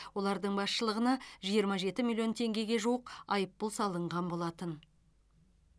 олардың басшылығына жиырма жеті миллион теңгеге жуық айыппұл салынған болатын